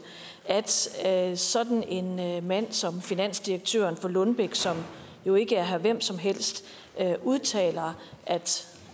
at sådan en mand mand som finansdirektøren for lundbeck som jo ikke er herre hvemsomhelst udtaler